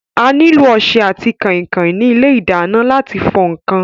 A nílò ọsẹ àti kànkàn ní ilé ìdáná láti fọ ǹkan.